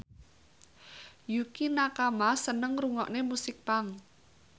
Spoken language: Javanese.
Yukie Nakama seneng ngrungokne musik punk